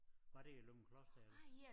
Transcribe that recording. Var det i Løgumkloster eller